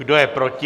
Kdo je proti?